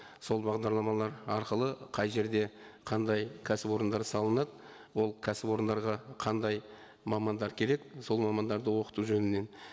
сол бағдарламалар арқылы қай жерде қандай кәсіпорындар салынады ол кәсіпорындарға қандай мамандар керек сол мамандарды оқыту жөнінен